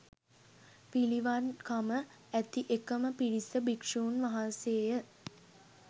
පිළිවන්කම ඇති එකම පිරිස භික්ෂූන් වහන්සේය